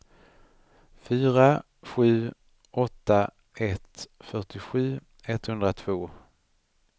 fyra sju åtta ett fyrtiosju etthundratvå